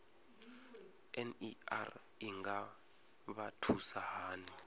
ner i nga vha thusa hani